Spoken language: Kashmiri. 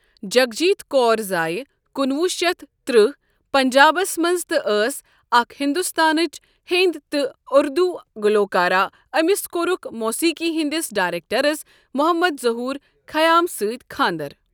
جگجیت کور زأے کُنوُہ شیتھ ترٛہ پنجابس مَنٛز تہِ أس اَکھ ہندوستانچ ہندی تہِ اُردوٗ گلوکارہ امس کورُکھ موٗسیٖقی ہٕنٛدِس ڈائریکٹرس محمد زہور خیام سۭتۍ خاندر۔